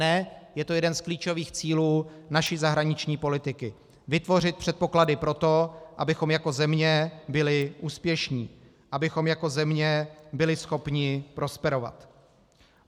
Ne, je to jeden z klíčových cílů naší zahraniční politiky - vytvořit předpoklady pro to, abychom jako země byli úspěšní, abychom jako země byli schopni prosperovat.